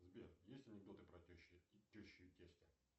сбер есть анекдоты про тещу и тестя